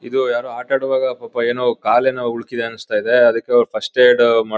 ಇದು ಯಾರೋ ಆಟಾಡೋವಾಗ ಪಾಪ ಏನೋ ಕಾಲೇನೋ ಉಲ್ಕಿದೆ ಅನ್ನಿಸ್ತಾ ಇದೆ ಅದಕೆ ಫಸ್ಟ್ ಏಡ್ ಮಾಡ್--